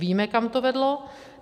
Víme, kam to vedlo.